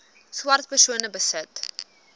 swart persone besit